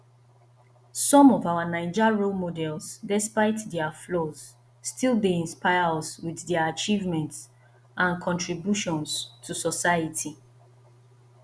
some of our naija role models despite dia flaws still dey inspire us with dia achievements and contributions to society